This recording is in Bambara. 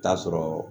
Taa sɔrɔ